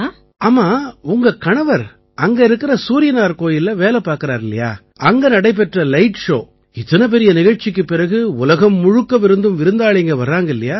ஆமா உங்க கணவர் அங்க இருக்கற சூரியனார் கோயில்ல வேலை பார்க்கறாரில்லையா அங்க நடைபெற்ற லைட் ஷோ இத்தனை பெரிய நிகழ்ச்சிக்குப் பிறகு உலகம் முழுக்கவிருந்தும் விருந்தாளிங்க வர்றாங்க இல்லையா